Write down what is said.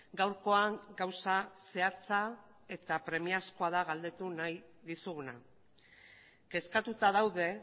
gaurkoan gauza zehatza eta premiazkoa da galdetu nahi dizuguna kezkatuta daude